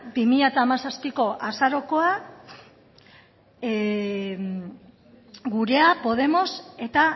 bi mila hamazazpiko azarokoa gurea podemos eta